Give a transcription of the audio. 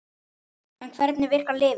En hvernig virkar lyfið?